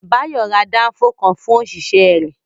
Bayo ra Danfo kan fún òṣìṣẹ́ rẹ̀